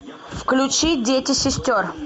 включи дети сестер